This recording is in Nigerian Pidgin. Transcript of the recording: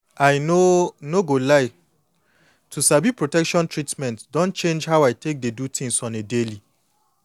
i no no go lie to sabi protection treatment don change how i take dey do things on a daily